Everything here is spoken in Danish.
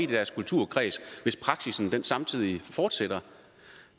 deres kulturkreds hvis praksissen samtidig fortsætter